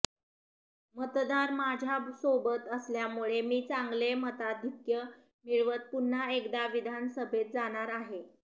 मतदार माझ्यासोबत असल्यामुळे मी चांगले मताधिक्य मिळवत पुन्हा एकदा विधानसभेत जाणार आहे